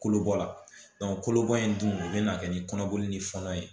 Kolobɔla kolobɔ in dun o bɛ na kɛ ni kɔnɔboli ni fɔnɔ ye